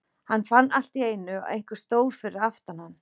Hann fann allt í einu að einhver stóð fyrir aftan hann.